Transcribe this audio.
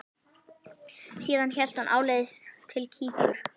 Síðan hélt hún áleiðis til Kýpur.